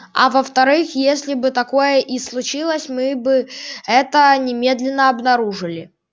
а во вторых если бы такое и случилось мы бы это немедленно обнаружили